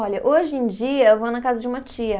Olha, hoje em dia eu vou na casa de uma tia.